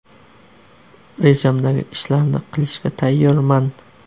Rejamdagi ishlarni qilishga tayyorman.